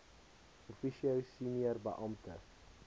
officio senior beampte